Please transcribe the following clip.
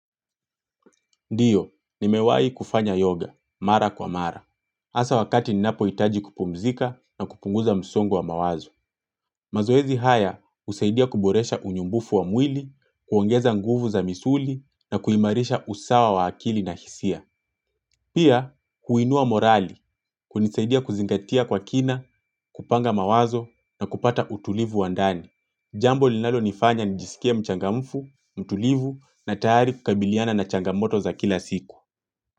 Ndiyo, nimewahi kufanya yoga, mara kwa mara. Hasa wakati ninapohitaji kupumzika na kupunguza msongo wa mawazo. Mazoezi haya husaidia kuboresha unyumbufu wa mwili, kuongeza nguvu za misuli na kuimarisha usawa wa akili na hisia. Pia, huinua morali, kunisaidia kuzingatia kwa kina, kupanga mawazo na kupata utulivu wa ndani. Jambo linalonifanya nijisikie mchangamfu, mtulivu na tayari kukabiliana na changamoto za kila siku.